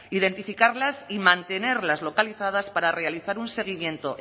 identificarlas y mantenerlas localizadas para realizar un seguimiento